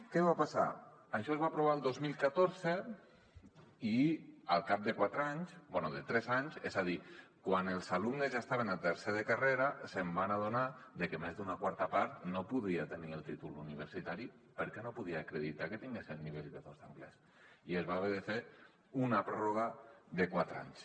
què va passar això es va aprovar el dos mil catorze i al cap de quatre anys bé de tres anys és a dir quan els alumnes ja estaven a tercer de carrera es van adonar de que més d’una quarta part no podia tenir el títol universitari perquè no podia acreditar que tinguessin el nivell b2 d’anglès i es va haver de fer una pròrroga de quatre anys